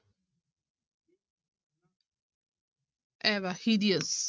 hideous